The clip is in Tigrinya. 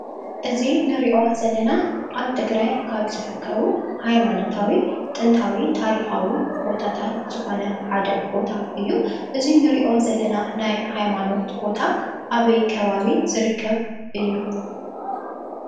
እዙይ እንርእዮ ዘለና ኣብ ትግራይ ካብ ዝርከቡ ሃይማኖታዊ ጥንታዊ ታሪካዊ ቦታታት ዝኮነ ሓደ ቦታ እዩ። እዙይ እንርእዮ ዘለና ናይ ሃይማኖት ቦታ ኣበይ ከባቢ ዝርከብ እዩ?